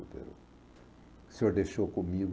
O senhor deixou comigo.